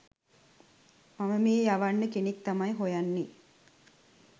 මම මේ යවන්න කෙනෙක් තමයි හොයන්නේ